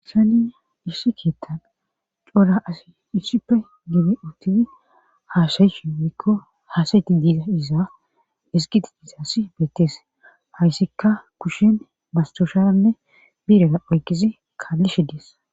hayssani issi keettan cora asay issipe gididi uttidi haasayishe woykko haasayide dize iza ezggidi dizayssi beettes haysika kushen masttooshanne biireza oykkizi kaallishe de7es.